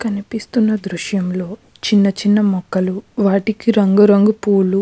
కనిపిస్తున్న దృశ్యం లో చిన్న చిన్న మొక్కలు వాటికి రంగు రంగు పూలు --